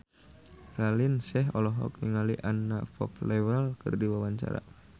Raline Shah olohok ningali Anna Popplewell keur diwawancara